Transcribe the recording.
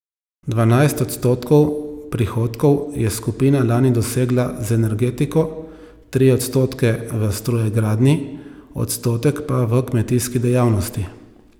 Dvanajst odstotkov prihodkov je skupina lani dosegla z energetiko, tri odstotke v strojegradnji, odstotek pa v kmetijski dejavnosti.